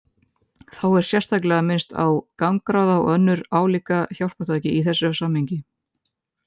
Þá er sérstaklega minnst á gangráða og önnur álíka hjálpartæki í þessu samhengi.